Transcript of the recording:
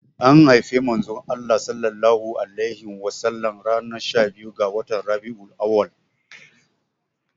Anhaifi manzon Allah sallallahu alaihi wasallam ranar shabiyu ga watan Rabi'ul auwal.